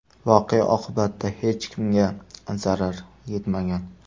Voqea oqibatida hech kimga zarar yetmagan.